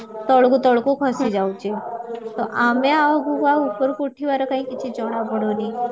ତଳକୁ ତଳକୁ ଖସି ଯାଉଚି ତ ଆମେ ଆଉ ଆଗକୁ ଆଉ ଉପରକୁ ଉଠିବାର କାଇଁ କିଛି ଜଣା ପଡୁନି